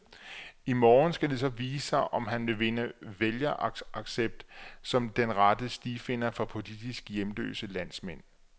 I morgen skal det så vise sig, om han vil vinde vælgeraccept som den rette stifinder for politisk hjemløse landsmænd.